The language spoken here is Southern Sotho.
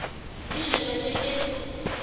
di je ba ke ke